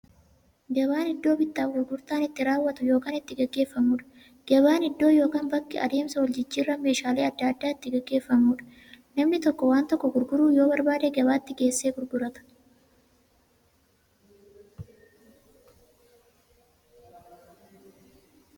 Gabaan iddoo bittaaf gurgurtaan itti raawwatu yookiin itti gaggeeffamuudha. Gabaan iddoo yookiin bakka adeemsa waljijjiiraan meeshaalee adda addaa itti gaggeeffamuudha. Namni tokko waan tokko gurguruu yoo barbaade, gabaatti geessee gurgurata.